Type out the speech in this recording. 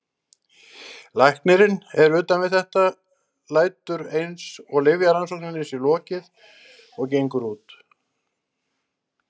Læknirinn er utan við þetta, lætur eins og lyfjarannsókninni sé lokið og gengur út.